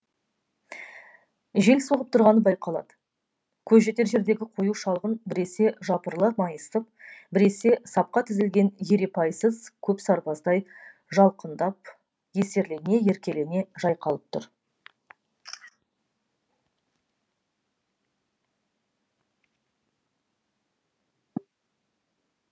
жел соғып тұрғаны байқалады көз жетер жердегі қою шалғын біресе жапырыла майысып біресе сапқа тізілген ерепайсыз көп сарбаздай жалқындап есерлене еркелене жайқалып тұр